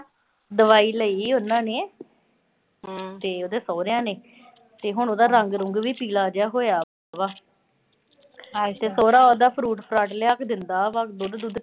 ਦਵਾਈ ਲਈ ਆ ਉਨ੍ਹਾਂ ਨੇ। ਤੇ ਉਹਦੇ ਸਹੁਰਿਆਂ ਨੇ, ਤੇ ਹੁਣ ਉਹਦਾ ਰੰਗ-ਰੁੰਗ ਵੀ ਪੀਲਾ ਜਾ ਹੋਇਆ ਪਿਆ ਵਾ। ਤੇ ਸਹੁਰਾ ਉਹਦਾ fruit -ਫਰਾਟ ਲਿਆ ਕੇ ਦਿੰਦਾ ਗਾ। ਦੁੱਧ-ਦੁੱਧ